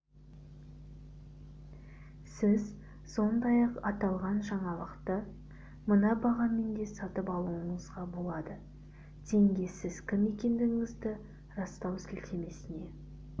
сіз сондай-ақ аталған жаңалықты мына бағамен де сатып алуыңызға болады теңге сіз кім екендігіңізді растау сілтемесіне